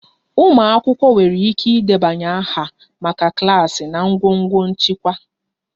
Umụ akwụkwọ nwere ike ịdebanye aha maka klaasị na ngọngọ nchịkwa